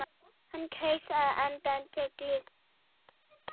Hann kaus að henda tígli.